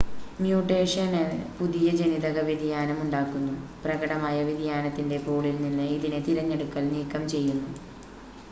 mutation പുതിയ ജനിതക വ്യതിയാനം ഉണ്ടാക്കുന്നു പ്രകടമായ വ്യതിയാനത്തിൻ്റെ പൂളിൽ നിന്ന് ഇതിനെ തിരഞ്ഞെടുക്കൽ നീക്കംചെയ്യുന്നു